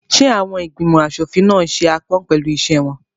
Ṣé àwọn ìgbìmọ̀ aṣòfin náà n ṣe aápọn pẹ̀lú iṣẹ́ wọn?